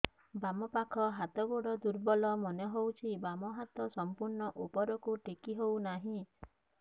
ବାମ ପାଖ ହାତ ଗୋଡ ଦୁର୍ବଳ ମନେ ହଉଛି ବାମ ହାତ ସମ୍ପୂର୍ଣ ଉପରକୁ ଟେକି ହଉ ନାହିଁ